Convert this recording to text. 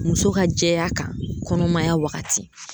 Muso ka jɛya kan kɔnɔmaya wagati